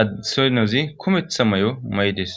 addesoynozi kumetha may7o may7des